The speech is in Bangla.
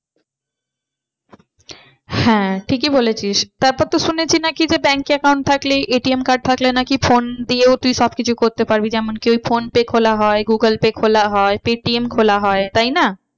হ্যাঁ ঠিকই বলেছিস তারপর তো শুনেছি নাকি যে bank account থাকলে ATM card থাকলে নাকি phone দিয়েও তুই সব কিছু করতে পারবি। যেমন কি ওই ফোন পে খোলা হয় গুগল পে খোলা হয় পেটিএম খোলা হয় তাই না?